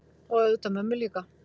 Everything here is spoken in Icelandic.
Og auðvitað mömmu líka.